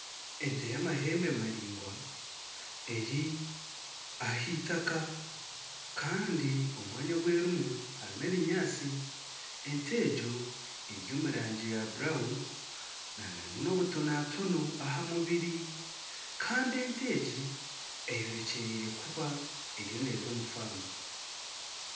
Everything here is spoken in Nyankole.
Ente y'amahembe maraingwa eri aheitaka kandi omwanya ogu erimu harimu ebinyaatsi ente egyo eri omu rangi ya kitaka eine nobutonatono aha mubiri kandi ente egi eyorekyereire kuba eriyo neeza omu faamu